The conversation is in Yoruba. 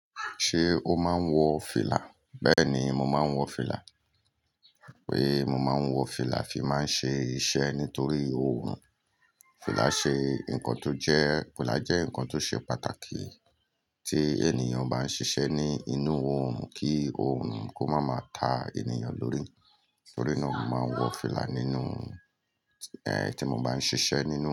Ṣé o máa ń wọ fìlà? Bẹ́ẹ̀ni, mo máa ń wọ fìlà. Pé mo máa ń wọ fìlà fi máa ń ṣe iṣẹ́ nítorí oòrùn. Fìlà ṣe nǹkan tó jẹ́, fìlà jẹ́ nǹkan tó ṣe pàtàkì tí ènìyàn bá ń ṣiṣẹ́ ní inú oòrùn kí oòrùn kó má máa ta ènìyàn lórí. Nítorí náà, mo máa ń wọ fìlà nínú, tí mo bá ń ṣiṣẹ́ nínú.